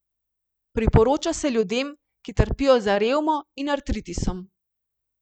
Priporoča se ljudem, ki trpijo za revmo in artritisom.